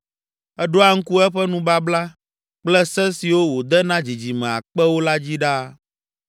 Eɖoa ŋku eƒe nubabla kple se siwo wòde na dzidzime akpewo la dzi ɖaa,